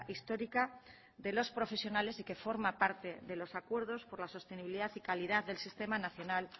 histórica de los profesionales y que forma parte de los acuerdos por la sostenibilidad y calidad del sistema nacional